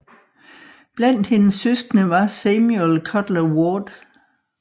Blandt hendes søskende var Samuel Cutler Ward